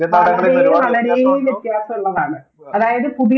വളരെ വളരെ വ്യത്യസുള്ളതാണ് അതായത് പുതിയ